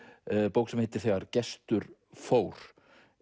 bók sem heitir þegar Gestur fór